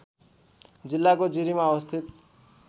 जिल्लाको जिरीमा अवस्थित